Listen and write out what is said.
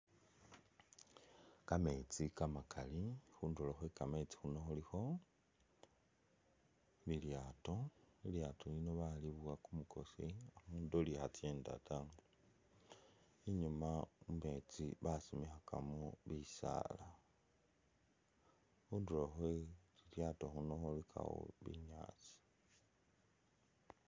Kameetsi kamakali khundulo khwe kameetsi khuno khulikho ilyaato, ilyaato lino balibowa kumukosi [?], inyuma mumetsi basimikhakamo bisaala , khundulo khwe lilyaato khuno khulikakho binyaasi.